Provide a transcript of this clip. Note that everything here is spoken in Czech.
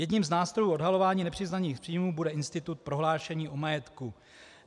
Jedním z nástrojů odhalování nepřiznaných příjmů bude institut prohlášení o majetku.